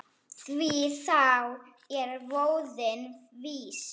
Því þá er voðinn vís.